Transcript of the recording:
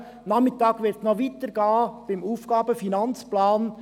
Am Nachmittag wird es beim AFP damit weitergehen.